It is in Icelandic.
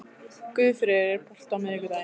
Guðfreður, er bolti á miðvikudaginn?